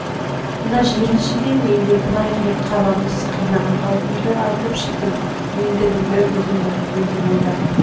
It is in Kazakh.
мына жиренше де мен де былай қаламыз қинаған қаупмді айтып шықтым ендігіңді өзің біл өзің ойлап